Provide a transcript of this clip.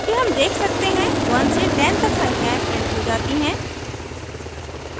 चूँकि हम देख सकते हैं 1 से 10 तक संख्याएं printed हो जाती हैं